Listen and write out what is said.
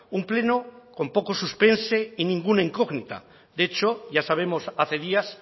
un pleno con poco suspense y ninguna incógnita de hecho ya sabemos hace días